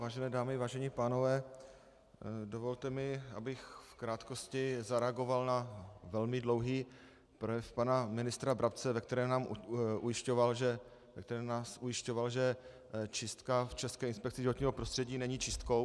Vážené dámy, vážení pánové, dovolte mi, abych v krátkosti zareagoval na velmi dlouhý projev pana ministra Brabce, ve kterém nás ujišťoval, že čistka v České inspekci životního prostředí není čistkou.